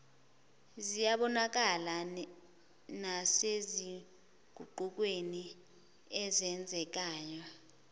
ziyabonakala nasezinguqukweni ezenzekayo